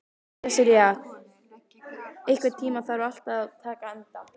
Sesilía, einhvern tímann þarf allt að taka enda.